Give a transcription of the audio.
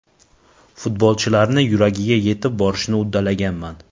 Futbolchilarni yuragiga yetib borishni uddalaganman.